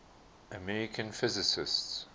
american physicists